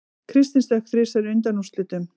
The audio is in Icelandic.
Kristinn stökk þrisvar í undanúrslitunum